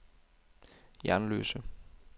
Jernløse